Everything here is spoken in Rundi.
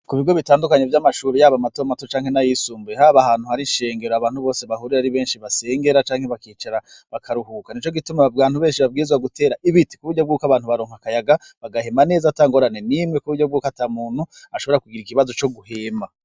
Ku bigo bitandukanye vy'amashuri yaba matomato canke n'ayisumbuye haba ahantu hari ishengero abantu bose bahurira ari benshi basengera canke bakicara bakaruhuka nico gituma abantu benshi babwirizwa gutera ibiti ku buryo bwuko abantu baronka akayaga bagahema neza ata ngorane n'imwe ku buryo bwuko ata muntu ashobora kugira ikibazo co guhema.